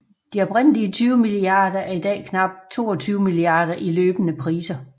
De oprindelige 20 milliarder er i dag knap 22 milliarder i løbende priser